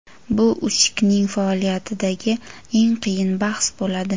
Bu Usikning faoliyatidagi eng qiyin bahs bo‘ladi.